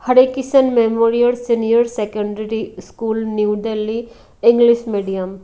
Hare Kishan memorial senior secondary school new Delhi English medium.